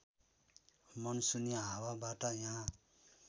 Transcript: मनसुनी हावाबाट यहाँ